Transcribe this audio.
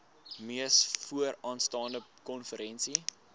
mees vooraanstaande konferensie